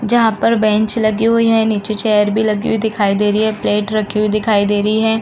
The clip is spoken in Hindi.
जहाँ पर बेंच लगी हुई है। नीचे चेयर भी लगी हुई दिखाई दे रही है। प्लेट रखी हुई दिखाई दे रहीं है।